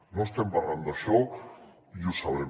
no estem parlant d’això i ho sabem